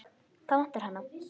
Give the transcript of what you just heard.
Hvað vantar hana?